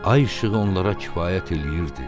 Ay işığı onlara kifayət eləyirdi.